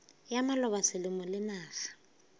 ya maloba selemo le naga